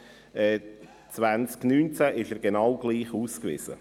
Dort ist er genau gleich ausgewiesen.